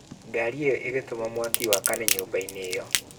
Ngari ĩyo ĩgĩtũma mwaki wakane nyũmba-inĩ ĩyo.